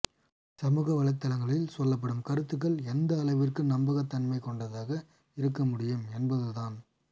சமூக வளைத்தளங்களில் சொல்லப்படும் கருத்துக்கள் எந்த அளவிற்கு நம்பகத்தன்மை கொண்டதாக இருக்க முடியும் என்பது தான்